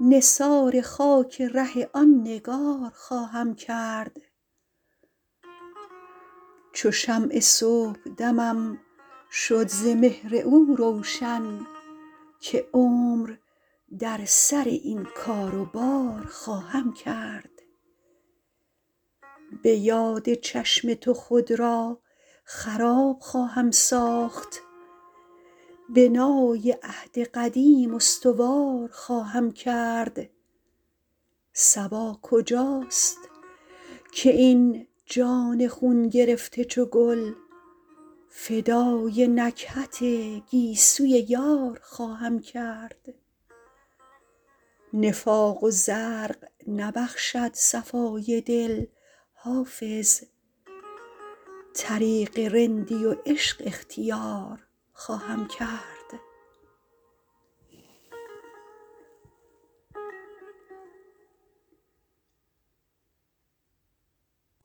نثار خاک ره آن نگار خواهم کرد چو شمع صبحدمم شد ز مهر او روشن که عمر در سر این کار و بار خواهم کرد به یاد چشم تو خود را خراب خواهم ساخت بنای عهد قدیم استوار خواهم کرد صبا کجاست که این جان خون گرفته چو گل فدای نکهت گیسوی یار خواهم کرد نفاق و زرق نبخشد صفای دل حافظ طریق رندی و عشق اختیار خواهم کرد